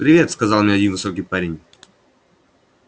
привет сказал мне один высокий парень